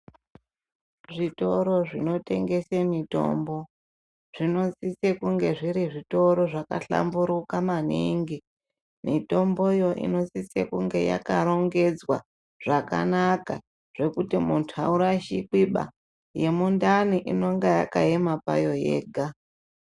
Zvitoro zvinotengese mitombo, zvinosise kunge zviri zvitoro zvakahlamburuka maningi. Mitomboyo inosise kunge yakarongedzwa, zvakanaka, zvekuti munthu aurashikiba. Yemundani inonga yakaema payo yega.